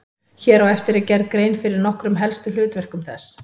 Hér á eftir er gerð grein fyrir nokkrum helstu hlutverkum þess.